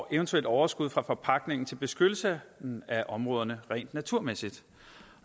eventuelt overskud fra forpagtningen går til beskyttelse af områderne rent naturmæssigt